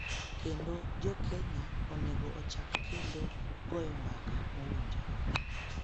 kendo Jo-Kenya onego ochak kendo goyo mbaka mowinjore